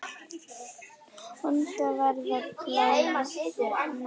Vonandi verður pláss næst.